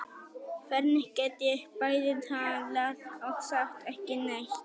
Hvernig get ég bæði talað og sagt ekki neitt?